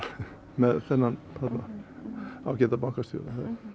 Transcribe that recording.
með þennan ágæta bankastjóra